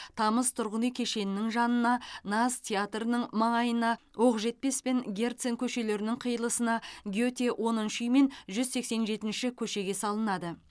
тамыз тұрғын үй кешенінің жанына наз театрының маңайына оқжетпес пен герцен көшелерінің қиылысына гете оныншы үй мен жүз сексен жетінші көшеге салынады